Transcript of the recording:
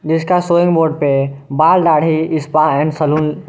जिसका स्वयं पे है बाल दाढ़ी स्पा एंड सैलून --